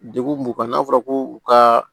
Degun b'u kan n'a fɔra ko u ka